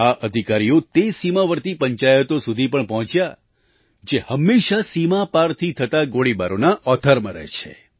આ અધિકારીઓ તે સીમાવર્તી પંચાયતો સુધી પણ પહોંચ્યા જે હંમેશાં સીમા પારથી થતા ગોળીબારોના ઓથારમાં રહે છે